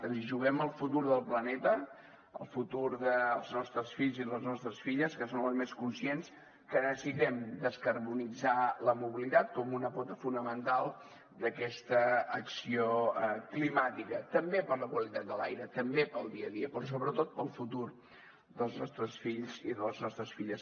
ens hi juguem el futur del planeta el futur dels nostres fills i les nostres filles que són els més conscients que necessitem descarbonitzar la mobilitat com una pota fonamental d’aquesta acció climàtica també per la qualitat de l’aire també pel dia a dia però sobretot pel futur dels nostres fills i de les nostres filles